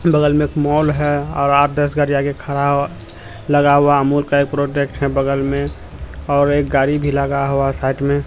बगल में एक मॉल है और आठ-दस गाड़ी आगे खड़ा लगा हुआ अमूल का ये प्रॉडेक्ट है बगल में और एक गाड़ी भी लगा हुआ साइड में।